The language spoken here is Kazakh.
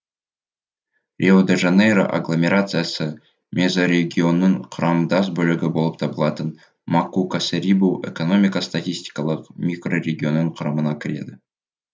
рио де жанейро агломерациясы мезорегионының құрамдас бөлігі болып табылатын макаку касерибу экономика статистикалық микрорегионының құрамына кіреді